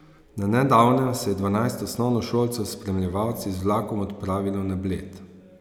Na nedavnem se je dvanajst osnovnošolcev s spremljevalci z vlakom odpravilo na Bled.